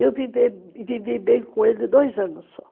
Eu vivi bem com ele dois anos só.